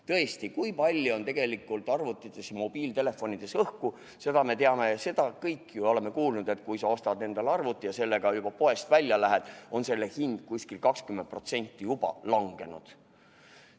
Tõesti, kui palju on tegelikult arvutites ja mobiiltelefonides õhku, seda me teame – oleme ju kõik kuulnud, et kui sa ostad endale arvuti, siis hetkeks, kui sellega poest välja lähed, on selle hind juba umbes 20% langenud.